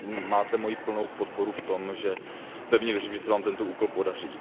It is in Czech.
Máte moji plnou podporu v tom, že pevně věřím, že se vám tento úkol podaří.